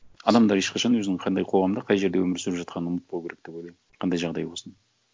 адамдар ешқашан өзінің қандай қоғамда қай жерде өмір сүріп жатқанын ұмытпау керек деп ойлаймын қандай жағдай болсын